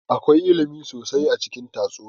Akwai ilimi sosai a cikin tatsuniya